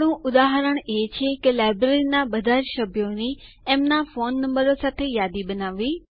આપણું ઉદાહરણ એ છે કે લાઈબ્રેરીના બધાજ સભ્યોની એમના ફોન નંબરો સાથે યાદી બનાવવી